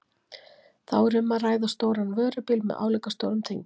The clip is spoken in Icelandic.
Þá er um að ræða stóran vörubíl með álíka stórum tengivagni.